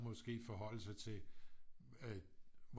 Måske forholde sig til